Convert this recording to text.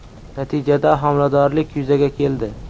Natijada homiladorlik yuzaga keldi.